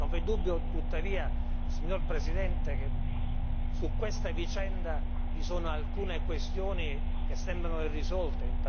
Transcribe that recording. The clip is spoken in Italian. Non v''è dubbio tuttavia, signor Presidente, che su questa vicenda vi sono alcune questioni che sembrano irrisolte